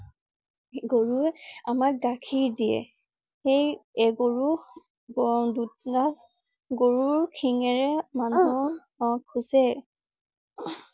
গৰুৱে আমাক গাখীৰ দিয়ে। সেই গৰু গৰুৰ শিঙেৰে মানুহক খুছে